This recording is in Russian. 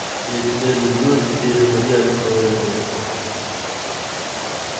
я тебя люблю теперь умри открой мне